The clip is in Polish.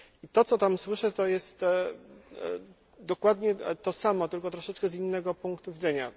To, co tam słyszę, to jest dokładnie to samo, tylko troszeczkę z innego punktu widzenia.